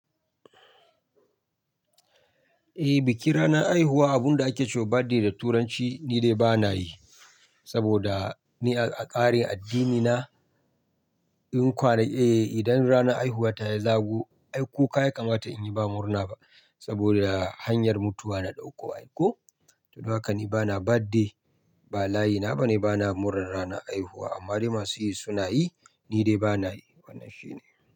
Eh, bikin ranar haihuwa abunda ake cewa birthday da turanci ni dai bana yi. Saboda ni a ƙarin addinina in kware, eh idan ranar haihuwa ta ya zago ai kuka ya kamata in yi ba murna ba. Saboda hanyar mutuwa na ɗauko. Ai ko? To don haka ni bana birthday, ba layi na bane bana murar ranar haihuwa. Amma dai masu yi suna yi, ni dai bana yi. Wannan shine.